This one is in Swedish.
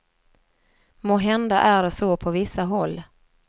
Måhända är det så på vissa håll.